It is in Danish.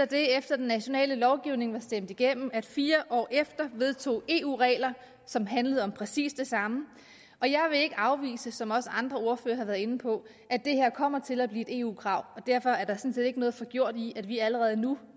det efter den nationale lovgivning var stemt igennem at fire år efter vedtog eu regler som handlede om præcis det samme og jeg vil ikke afvise som også andre ordførere har været inde på at det her kommer til at blive et eu krav og derfor er der sådan set ikke noget forgjort i at vi allerede nu